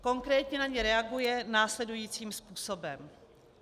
Konkrétně na ně reaguje následujícím způsobem.